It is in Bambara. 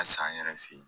Ka san yɛrɛ fe yen